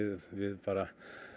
við bara